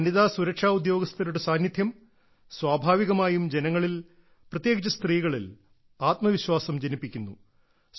വനിതാ സുരക്ഷാ ഉദ്യോഗസ്ഥരുടെ സാന്നിധ്യം സ്വാഭാവികമായും ജനങ്ങളിൽ പ്രത്യേകിച്ച് സ്ത്രീകളിൽ ആത്മവിശ്വാസം ജനിപ്പിക്കുന്നു